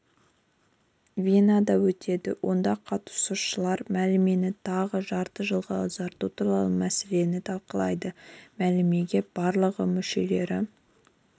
венада өтеді онда қатысушылар мәмілені тағы жарты жылға ұзарту туралы мәселені талқылайды мәмілеге барлығы мүшелері